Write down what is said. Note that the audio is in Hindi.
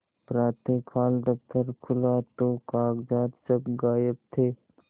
प्रातःकाल दफ्तर खुला तो कागजात सब गायब थे